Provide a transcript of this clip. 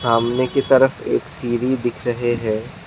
सामने की तरफ़ एक सीढ़ी दिख रहे है।